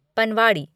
पनवाड़ी